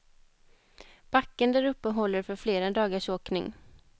Backen däruppe håller för flera dagars åkning.